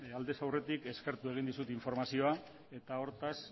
aldez aurretik eskertzen dizut informazioa eta hortaz